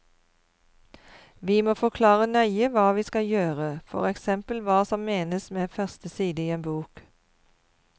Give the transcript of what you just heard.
Vi må forklare nøye hva vi skal gjøre, for eksempel hva som menes med første side i en bok.